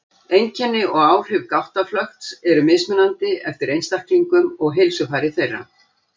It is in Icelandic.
Einkenni og áhrif gáttaflökts eru mismunandi eftir einstaklingum og heilsufari þeirra.